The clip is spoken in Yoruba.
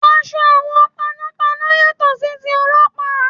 Aṣọ àwọn panọ́panọ́ yàtọ̀ sí ti Ọlọ́pàá.